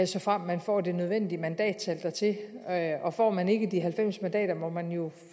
såfremt man får det nødvendige mandattal dertil og får man ikke de halvfems mandater må man jo